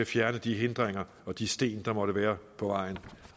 fjernet de hindringer og de sten der måtte være på vejen